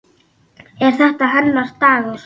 Er þetta hennar dagur?